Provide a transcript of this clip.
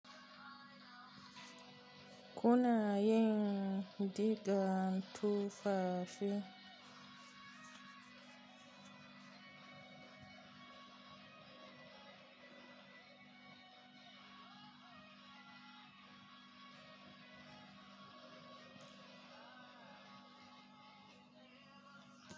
Kuna yin rigan tufafi?